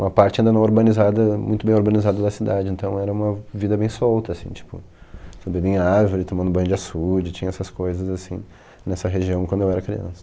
Uma parte ainda não urbanizada, muito bem urbanizada da cidade, então era uma vida bem solta, assim, tipo, subindo em árvore, tomando banho de açude, tinha essas coisas, assim, nessa região quando eu era criança.